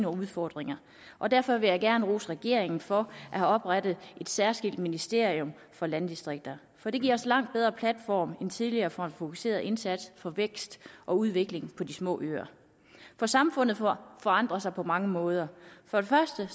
udfordringer og derfor vil jeg gerne rose regeringen for at have oprettet et særskilt ministerium for landdistrikterne for det giver os en langt bedre platform end tidligere for en fokuseret indsats for vækst og udvikling på de små øer for samfundet forandrer sig på mange måder for det første